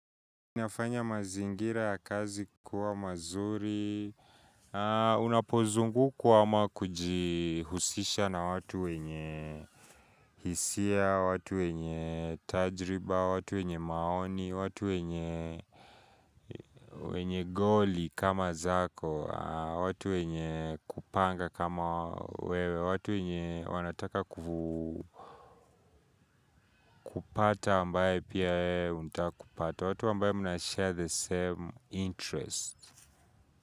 Nafanya mazingira ya kazi kuwa mazuri, unapozungu kuwa ama kujihusisha na watu wenye hisia, watu wenye tajriba, watu wenye maoni, watu wenye goli kama zako, watu wenye kupanga kama wewe, watu wenye wanataka kupata ambaye pia untakupata, watu ambaye munashare the same interest.